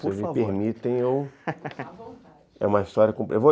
Por favor, se me permitem, eu... à vontade Eu